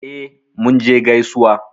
E, Munje gaisuwa.